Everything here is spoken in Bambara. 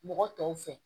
Mɔgɔ tɔw fɛ